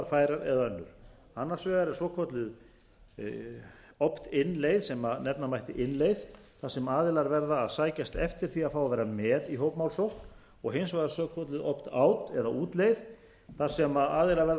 færar eða önnur annars vegar er svokölluð opt in leið sem nefna mætti innleið þar sem aðilar verða að sækjast eftir því að fá að vera með í hópmálsókn og hins vegar svokölluð opt out leið eða útleið þar sem aðilar verða að láta vita ef